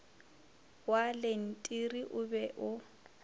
wa lentiri o be o